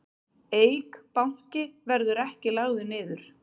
Eik Banki verði ekki lagður niður